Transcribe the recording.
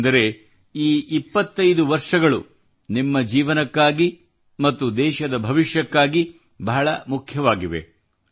ಏಕೆಂದರೆ ಈ 25 ವರ್ಷಗಳು ನಿಮ್ಮ ಜೀವನಕ್ಕಾಗಿ ಮತ್ತು ದೇಶದ ಭವಿಷ್ಯಕ್ಕಾಗಿ ಬಹಳ ಮುಖ್ಯವಾಗಿವೆ